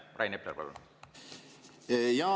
Rain Epler, palun!